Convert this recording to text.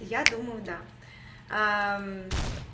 я думаю да